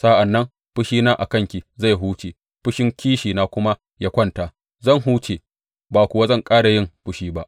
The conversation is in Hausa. Sa’an nan fushina a kanki zai huce fushin kishina kuma ya kwanta; zan huce ba kuwa zan ƙara yin fushi ba.